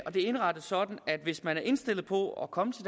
det er indrettet sådan at hvis man er indstillet på at komme til